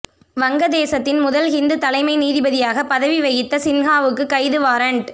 வங்கதேசத்தின் முதல் ஹிந்து தலைமை நீதிபதியாக பதவி வகித்த சின்ஹாவுக்கு கைது வாரன்ட்